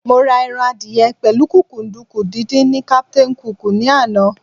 Mo ra ẹran adìyẹ pẹ̀lú kúkúǹdùkú díndín ní Captain Cook ní àná.